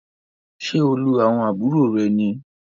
Ṣe o lu àwọn àbúrò rẹ ní?